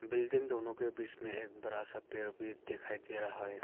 Building दोनों के बीच में एक बड़ा सा पेड़ भी दिखाई दे रहा है।